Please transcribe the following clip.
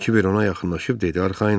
Kiber ona yaxınlaşıb dedi arxayın ol.